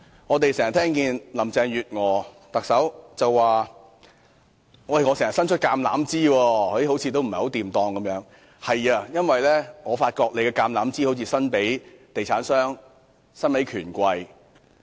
我們經常聽到特首林鄭月娥表示伸出橄欖枝，但卻似乎不太成功，因為我發現她的橄欖枝似乎較常伸向地產商及權貴。